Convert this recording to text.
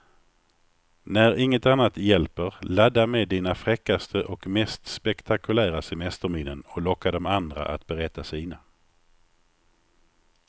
När inget annat hjälper, ladda med dina fräckaste och mest spektakulära semesterminnen och locka de andra att berätta sina.